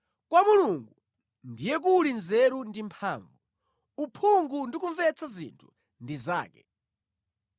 “Kwa Mulungu ndiye kuli nzeru ndi mphamvu; uphungu ndi kumvetsa zinthu ndi zake.